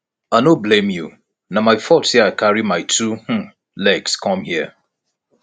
i no blame you na my fault say i carry my two um legs come here